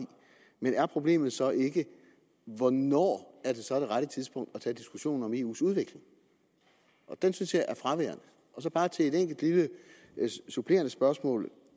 men er problemet så ikke hvornår er det så det rette tidspunkt at tage diskussionen om eus udvikling og den synes jeg er fraværende så bare et enkelt lille supplerende spørgsmål